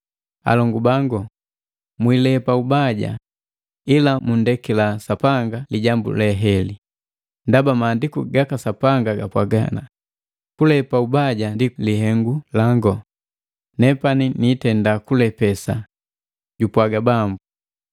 Alongu bangu, mwiilepa ubaja, ila mundekila Sapanga lijambu heli, ndaba Maandiku gaka Sapanga gapwaga, “Kulepa ubaja ndi lihengu lango, nepani niitenda kulepesa, jupwaga Bambu.”